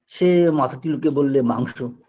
সে মাথা দুলিয়েবললে মাংস